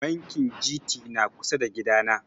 Bankin Gt na kusa da gida na